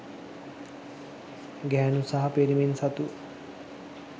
ගැහැණු සහ පිරිමින් සතු